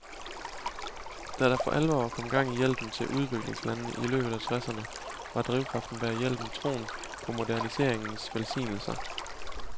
Da der for alvor kom gang i hjælpen til udviklingslandene i løbet af tresserne, var drivkraften bag hjælpen troen på moderniseringens velsignelser.